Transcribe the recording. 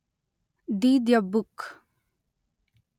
the dybbuk